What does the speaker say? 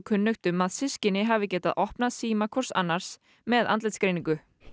kunnugt um að systkini hafi getað opnað síma hvors annars með andlitsgreiningu